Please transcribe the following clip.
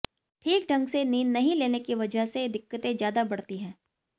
ठीक ढंग से नींद नहीं लेने की वजह से दिक्कतें ज्यादा बढ़ती है